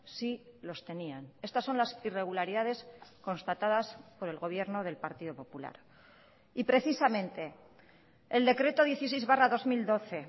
sí los tenían estas son las irregularidades constatadas por el gobierno del partido popular y precisamente el decreto dieciséis barra dos mil doce